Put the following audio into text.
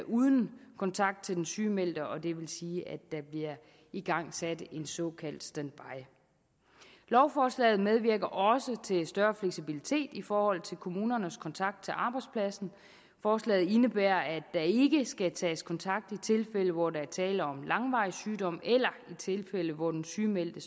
uden kontakt til den sygemeldte og det vil sige at der bliver igangsat en såkaldt standby lovforslaget medvirker også til større fleksibilitet i forhold til kommunernes kontakt til arbejdspladsen forslaget indebærer at der ikke skal tages kontakt i tilfælde hvor der er tale om langvarig sygdom eller i tilfælde hvor den sygemeldte